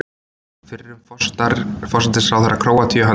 Fyrrum forsætisráðherra Króatíu handtekinn